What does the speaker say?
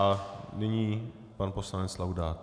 A nyní pan poslanec Laudát.